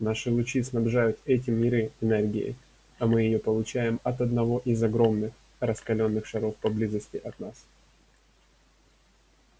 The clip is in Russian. наши лучи снабжают эти миры энергией а мы её получаем от одного из огромных раскалённых шаров поблизости от нас